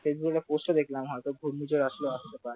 Facebook post দেখলাম হয়তো ঘূর্ণিঝড় হলেও আসতে পারে